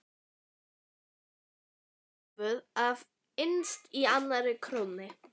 Lömbin voru hólfuð af innst í annarri krónni.